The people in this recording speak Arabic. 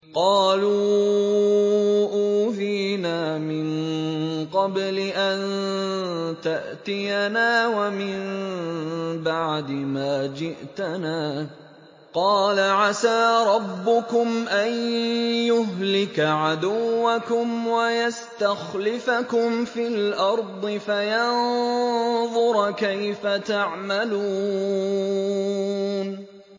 قَالُوا أُوذِينَا مِن قَبْلِ أَن تَأْتِيَنَا وَمِن بَعْدِ مَا جِئْتَنَا ۚ قَالَ عَسَىٰ رَبُّكُمْ أَن يُهْلِكَ عَدُوَّكُمْ وَيَسْتَخْلِفَكُمْ فِي الْأَرْضِ فَيَنظُرَ كَيْفَ تَعْمَلُونَ